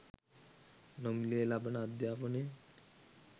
නොමිලයේ ලබන අධ්‍යාපනය